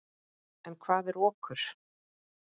En hvað er okur?